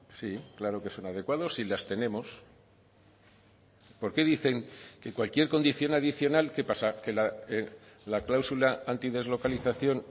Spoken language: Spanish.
sí claro que son adecuados y las tenemos por qué dicen que cualquier condición adicional qué pasa que la cláusula antideslocalización